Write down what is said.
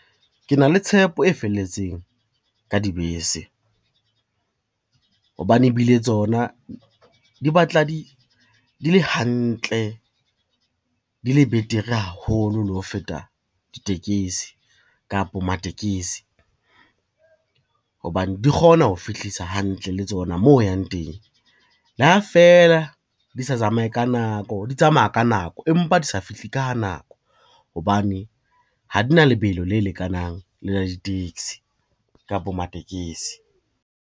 Ke na le tshepo e felletseng ka dibese, hobane ebile tsona di batla di le hantle, di le betere haholo le ho feta ditekesi kapa matekesi. Hobane di kgona ho fihlisa hantle le tsona moo o yang teng, le ha feela di tsamaya ka nako empa di sa fihle ka nako hobane ha di na lebelo le lekanang le la di-taxi kapo matekesi.